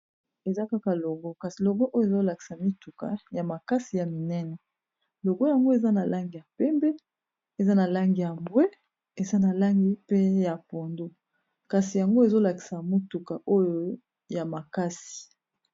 Eza kaka logo kasi logo oyo ezolakisa mituka ya makasi ya minene logo yango eza na langi ya pembe eza na langi ya mbwe eza na langi pe ya pondo kasi yango ezolakisa mituka oyo ya makasi.